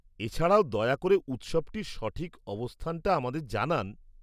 এছাড়াও দয়া করে উৎসবটির সঠিক অবস্থানটা আমাদের জানান।